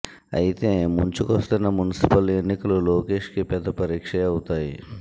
అయితే ముంచుకొస్తున్న మున్సిపల్ ఎన్నికలు లోకేష్ కి పెద్ద పరీక్షే అవుతాయి